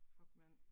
Fuck mand